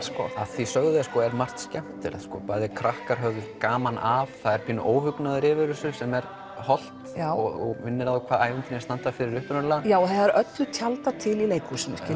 af því sögðu er margt skemmtilegt bæði krakkar höfðu gaman að það er pínu óhugnaður yfir þessu sem er hollt og minnir á fyrir hvað ævintýrin standa upprunalega já það er öllu tjaldað til í leikhúsinu